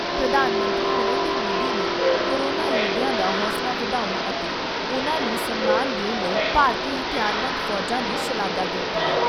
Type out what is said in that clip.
ਪ੍ਰਧਾਨ ਮੰਤਰੀ ਨਰਿੰਦਰ ਮੋਦੀ ਨੇ ਕੋਰੋਨਾ ਯੋਧਿਆਂ ਦਾ ਹੌਸਲਾ ਵਧਾਉਣ ਅਤੇ ਉਨ੍ਹਾਂ ਨੂੰ ਸਨਮਾਨ ਦੇਣ ਲਈ ਭਾਰਤੀ ਹਥਿਆਰਬੰਦ ਫੌਜਾਂ ਦੀ ਸ਼ਲਾਘਾ ਕੀਤੀ।